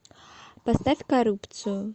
поставь коррупцию